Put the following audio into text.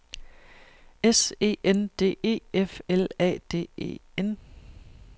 S E N D E F L A D E N